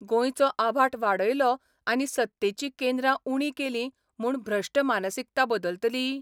गोंयचो आबाठ वाडयलो आनी सत्तेचीं केंद्रां उणीं केलीं म्हूण भ्रश्ट मानसिकता बदलतली?